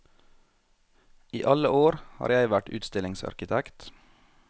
I alle år har jeg vært utstillingsarkitekt.